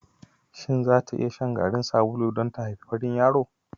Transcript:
shin zata iya shan garin sabulu don ta haifi farin yaro?